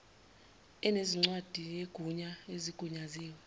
ezinencwadi yegunya ezigunyaziwe